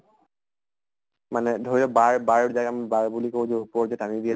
মানে ধৰি ল bar bar যে আমি bar বুলি কওঁ যে ওপৰত যে টানি